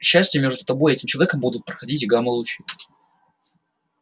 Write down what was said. к несчастью между тобой и этим человеком будут проходить гамма-лучи